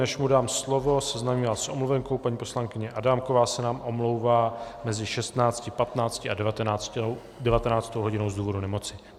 Než mu dám slovo, seznámím vás s omluvenkou: paní poslankyně Adámková se nám omlouvá mezi 16.15 a 19. hodinou z důvodu nemoci.